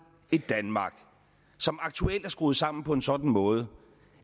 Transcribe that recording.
et danmark som aktuelt er skruet sammen på en sådan måde